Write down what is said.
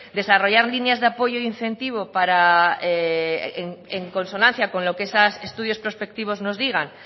desarrollar líneas de apoyo y incentivo en consonancia con lo que esos estudios prospectivos nos digan